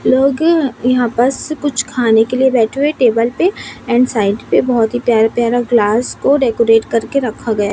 लौकी यहां पास कुछ खाने के लिए बैठे हुए टेबल पे एंड साइड पे बहोत ही प्यारा प्यारा ग्लास को डेकोरेट करके रखा गया।